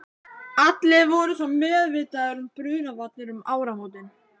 Allir voru svo meðvitaðir um brunavarnir um áramótin.